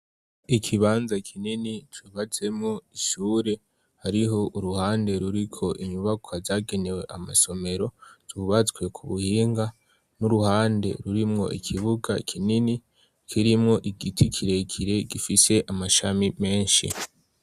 Ikibanza kinini cubatsemwo ishure, hariho uruhande ruriko inyubakwa zagenewe amasomero zubatswe ku buhinga, n'uruhande rurimwo ikibuga kinini kirimo igiti kirekire gifise amashami menshi.